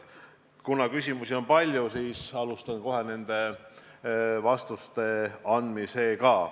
Kuna küsimusi on palju, siis alustan kohe nendele vastuste andmisega.